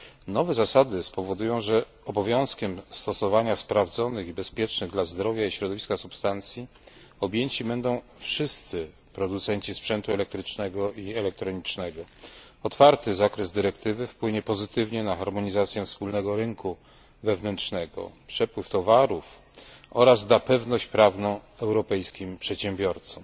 Nowe zasady spowodują, że obowiązkiem stosowania sprawdzonych i bezpiecznych dla zdrowia i środowiska substancji objęci będą wszyscy producenci sprzętu elektrycznego i elektronicznego. Otwarty zakres dyrektywy wpłynie pozytywnie na harmonizację wspólnego rynku wewnętrznego, przepływ towarów oraz da pewność prawną europejskim przedsiębiorcom.